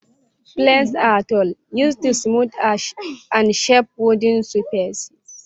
Planes are tools used to smooth and shape wooden surfaces.